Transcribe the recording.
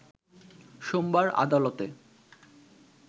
সোমবার আদালতে